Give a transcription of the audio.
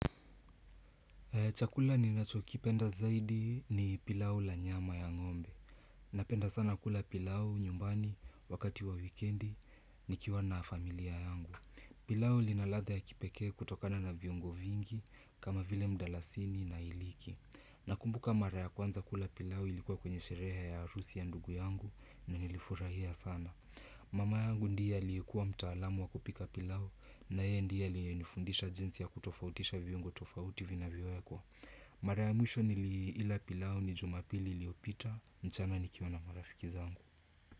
Chakula ninachokipenda zaidi ni pilau ya nyama ya ng'ombe. Napenda sana kula pilau nyumbani, wakati wa wikendi, nikiwa na familia yangu. Pilau lina ladha ya kipekee kutokana na viungo vingi, kama vile mdalasini na hiliki. Nakumbuka mara ya kwanza kula pilau ilikuwa kwenye shereha ya harusi ya ndugu yangu na nilifurahia sana. Mama yangu ndiye aliyekuwa mtaalamu wa kupika pilau na yeye ndiye alinifundisha jinsi ya kutofautisha viungo tofauti vinavyowekwa. Mara mwisho niliila pilau ni jumapili liyopita mchana nikiwa na marafiki zangu.